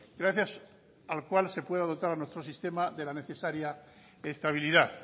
gracias al cual se pueda dotar a nuestro sistema de la necesaria estabilidad